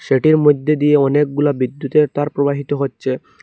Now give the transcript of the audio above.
এটির মইদ্যে দিয়ে অনেকগুলা বিদ্যুতের তার প্রবাহিত হচ্চে।